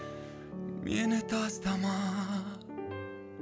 мені тастама